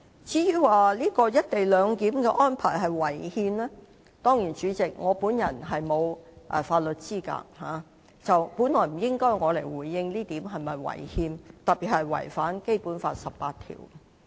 至於"一地兩檢"安排是否違憲，主席，我沒有法律資格，本來不應由我回應有關安排是否違憲，特別是否違反《基本法》第十八條。